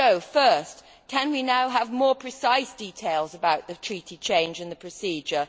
Firstly, can we now have more precise details about the Treaty change and the procedure?